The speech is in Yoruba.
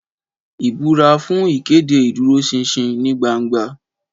Ìbúra fún ìkéde ìdúróṣinṣin ní gbangba.